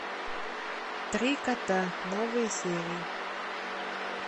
три кота новые серии